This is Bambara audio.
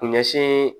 Kun ɲɛsin